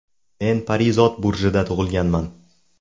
Men Parizod burjida tug‘ilganman.